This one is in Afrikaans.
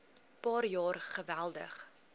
paar jaar geweldig